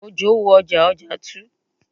Òjò wo ọjà, ọjà tu